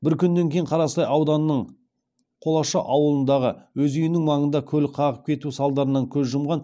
бір күннен кейін қарасай ауданының қолашы ауылындағы өз үйінің маңында көлік қағып кетуі салдарынан көз жұмған